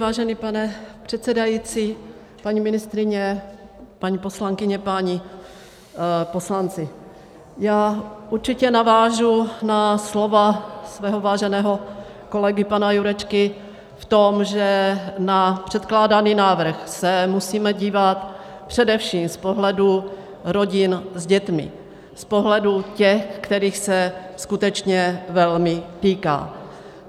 Vážený pane předsedající, paní ministryně, paní poslankyně, páni poslanci, já určitě navážu na slova svého váženého kolegy pana Jurečky v tom, že na předkládaný návrh se musíme dívat především z pohledu rodin s dětmi, z pohledu těch, kterých se skutečně velmi týká.